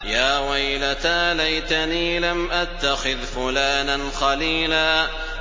يَا وَيْلَتَىٰ لَيْتَنِي لَمْ أَتَّخِذْ فُلَانًا خَلِيلًا